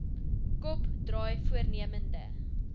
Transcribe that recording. kop draai voornemende